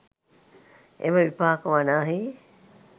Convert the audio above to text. එම විපාක වනාහී